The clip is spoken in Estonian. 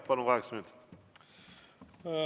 Palun, kaheksa minutit!